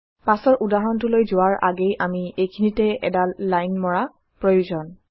পাছৰ উদাহৰণটোলৈ যোৱাৰ আগেয়ে আমি এইখিনিতে এডাল লাইন মৰা প্ৰয়োজন